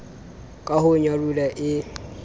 ka ho nyaroha e e